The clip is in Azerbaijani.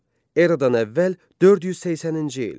Eradan əvvəl 480-ci il.